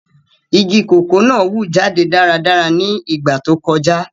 Igi koko náa wu jade daradara ni igba to kọja.